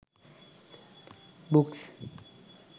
books